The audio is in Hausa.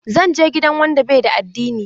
Zan je gidan wanda bai da addini.